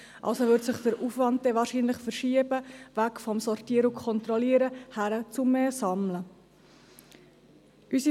Also würde sich der Aufwand wahrscheinlich weg vom Sortieren und Kontrollieren hin zum zusätzlichen Sammeln verschieben.